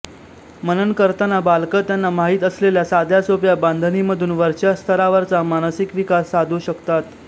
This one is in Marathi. मनन करताना बालकं त्यांना माहित असलेल्या साध्या सोप्या बांधणीमधून वरच्या स्तरावरचा मानसिक विकास साधू शकतात